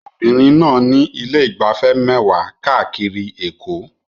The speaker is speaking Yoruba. Obìnrin náà ní ilé ìgbafẹ́ mẹ́wàá káàkiri Èkó